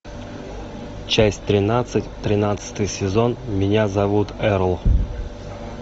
часть тринадцать тринадцатый сезон меня зовут эрл